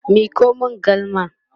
Miko min galma!